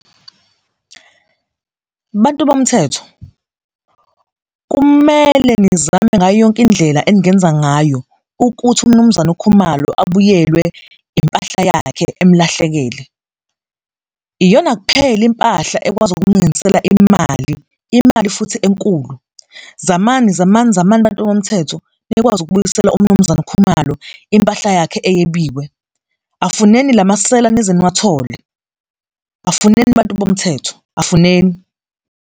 Bantu bomthetho, kumele nizame ngayo yonke indlela eningenza ngayo ukuthi uMnumzane uKhumalo abuyelwe impahla yakhe emlahlekele. Iyona kuphela impahla ekwazi ukumlungisela imali, imali futhi enkulu. Zamani, zamani, zamani, bantu bomthetho, nikwazi ukubuyisela uMnumzane Khumalo impahla yakhe eyebiwe, afuneni lamasela nize niwathole, afuneni bantu bomthetho, afuneni.